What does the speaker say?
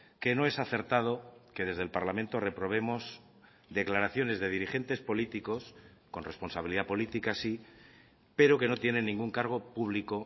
que no es acertado que desde el parlamento reprobemos declaraciones de dirigentes políticos con responsabilidad política sí pero que no tienen ningún cargo público